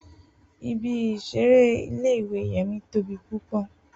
Ibi isere ìle-ìwe Yemi tobi pupọ.